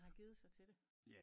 Den har givet sig til det